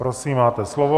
Prosím, máte slovo.